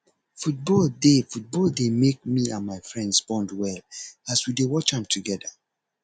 football dey football dey make me and my friends bond well as we dey watch am together